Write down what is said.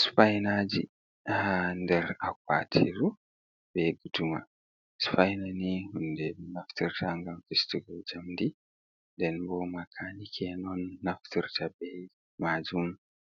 Supainaji ha ndar a kawatiru bei guɗuma. Supaina ni hunɗe be naftirta ngam fistugal jamdi. ɗen bo makanike non naftirta bei majun